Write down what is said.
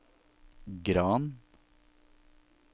Gran